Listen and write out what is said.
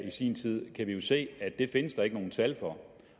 i sin tid kan vi jo se at det findes der ikke nogen tal for